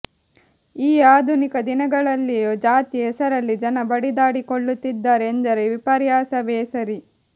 ಈ ಆಧುನಿಕ ದಿನಗಳಲ್ಲಿಯೂ ಜಾತಿ ಹೆಸರಲ್ಲಿ ಜನ ಬಡಿದಾಡಿಕೊಳ್ಳುತ್ತಿದ್ದಾರೆ ಎಂದರೆ ವಿಪರ್ಯಾಸವೇ ಸರಿ